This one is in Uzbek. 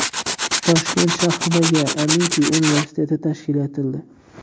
Toshkent shahridagi Amiti universiteti tashkil etildi.